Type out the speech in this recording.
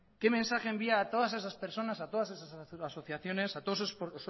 qué mensaje envía a todas esas personas a todas esas asociaciones a todos esos